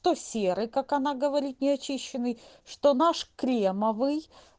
то серый как она говорит неочищенный что наш кремовый